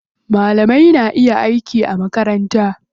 Malamai na iya aiki a makaranta.